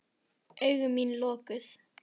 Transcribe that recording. Augu mín lokuð.